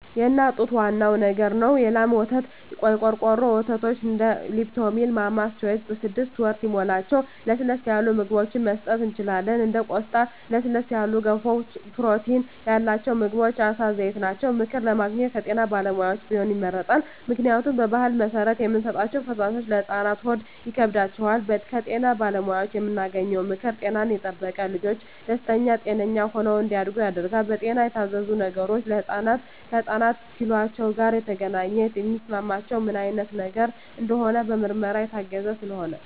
የእናት ጡት ዋናው ነገር ነው የላም ወተት , የቆርቆሮ ወተቶች እንደ ሊፕቶሚል ማማስ ቾይዥ ስድስት ወር ሲሞላቸው ለስለስ ያሉ ምግብችን መስጠት እንችላለን እንደ ቆስጣ ለስለስ ያሉ ገንፎ ፕሮቲን ያላቸው ምግቦች የአሳ ዘይት ናቸው። ምክር ለማግኘት ከጤና ባለሙያዎች ቢሆን ይመረጣል ምክንያቱም በባህል መሰረት የምንሰጣቸዉ ፈሳሾች ለህፃናት ሆድ ይከብዳቸዋል። ከጤና ባለሙያዎች የምናገኘው ምክር ጤናን የጠበቀ ልጅች ደስተኛ ጤነኛ ሆነው እንዳድጉ ያደርጋል። በጤና የታዘዙ ነገሮች ከህፃናት ኪሏቸው ጋር የተገናኘ የሚስማማቸው ምን አይነት ነገር እንደሆነ በምርመራ የታገዘ ስለሆነ